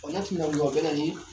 O n'a timinandita o bɛna ni